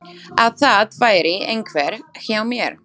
Að það væri einhver hjá mér?